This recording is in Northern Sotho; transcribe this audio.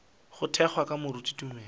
go thwego ke moruti tumelo